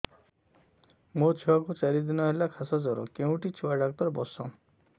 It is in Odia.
ମୋ ଛୁଆ କୁ ଚାରି ଦିନ ହେଲା ଖାସ ଜର କେଉଁଠି ଛୁଆ ଡାକ୍ତର ଵସ୍ଛନ୍